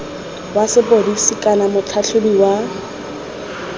wa sepodisi kana motlhatlhaobi wa